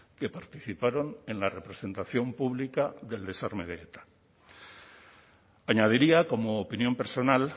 que participaron en la representación pública del desarme de eta añadiría como opinión personal